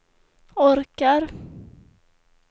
orkar